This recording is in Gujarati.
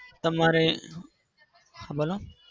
તમારે હા બોલો